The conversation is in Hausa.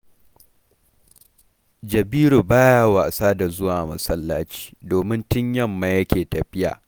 Jabiru ba ya wasa da zuwa masallaci, domin tun yamma yake tafiya